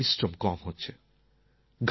কায়িক পরিশ্রম কম হচ্ছে